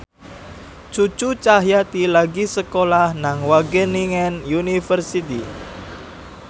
Cucu Cahyati lagi sekolah nang Wageningen University